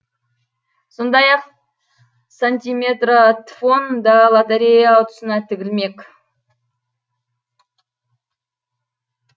сондай ақ сантиметратфон да лоторея ұтысына тігілмек